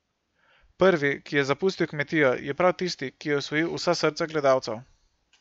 Prvi, ki je zapustil Kmetijo je prav tisti, ki je osvojil vsa srca gledalcev.